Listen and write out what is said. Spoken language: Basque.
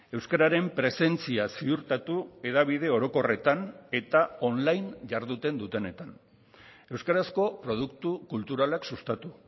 euskararen presentzia ziurtatu hedabide orokorretan eta on line jarduten dutenetan euskarazko produktu kulturalak sustatu